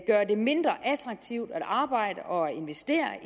gøre det mindre attraktivt at arbejde og at investere